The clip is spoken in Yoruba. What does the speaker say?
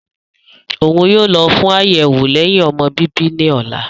Oun yoo lọ fun ayẹwo lẹhin-ọmọ bibi ni ọla.